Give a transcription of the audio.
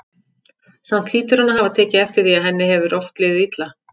Samt hlýtur hann að hafa tekið eftir því að henni hefur oft liðið illa.